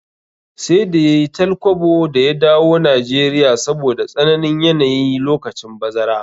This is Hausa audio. Sai da yayi tal kwabo da ya dawo Nigeria saboda tsananin yanayi lokacin bazara